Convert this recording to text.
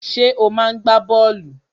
Ṣé ò máa ń gbá bọ́ọ̀lù?